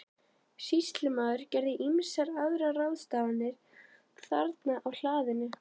Sýslumaður gerði ýmsar aðrar ráðstafanir þarna á hlaðinu.